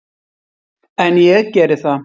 En ég geri það.